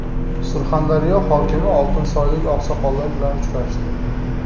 Surxondaryo hokimi oltinsoylik oqsoqollar bilan uchrashdi.